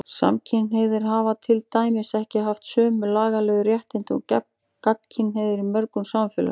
Samkynhneigðir hafa til dæmis ekki haft sömu lagalegu réttindi og gagnkynhneigðir í mörgum samfélögum.